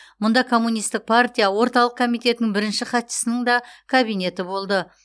мұнда коммунистік партия орталық комитетінің бірінші хатшысының да кабинеті болды